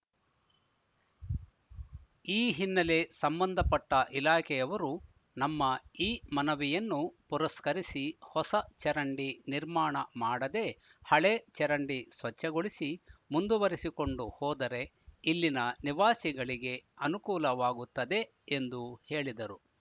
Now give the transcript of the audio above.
ಈ ಹಿನ್ನೆಲೆ ಸಂಬಂಧಪಟ್ಟಇಲಾಖೆಯವರು ನಮ್ಮ ಈ ಮನವಿಯನ್ನು ಪುರಸ್ಕರಿಸಿ ಹೊಸ ಚರಂಡಿ ನಿರ್ಮಾಣ ಮಾಡದೆ ಹಳೆ ಚರಂಡಿ ಸ್ವಚ್ಛಗೊಳಿಸಿ ಮುಂದುವರಿಸಿಕೊಂಡು ಹೋದರೆ ಇಲ್ಲಿನ ನಿವಾಸಿಗಳಿಗೆ ಅನುಕೂಲವಾಗುತ್ತದೆ ಎಂದು ಹೇಳಿದರು